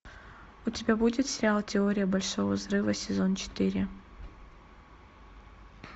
у тебя будет сериал теория большого взрыва сезон четыре